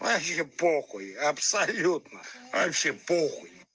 вообще по хуй абсолютно вообще по хуй